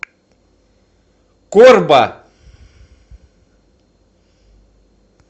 корба